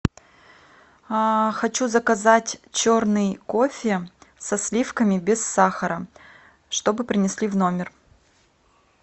хочу заказать черный кофе со сливками без сахара чтобы принесли в номер